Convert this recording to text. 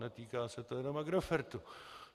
Netýká se to jenom Agrofertu.